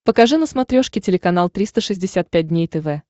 покажи на смотрешке телеканал триста шестьдесят пять дней тв